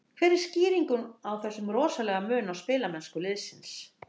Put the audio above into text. Hver er skýringin á þessum rosalega mun á spilamennsku liðsins?